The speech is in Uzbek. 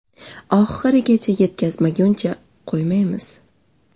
Oxirigacha yetkazmaguncha qo‘ymaymiz.